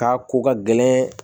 K'a ko ka gɛlɛn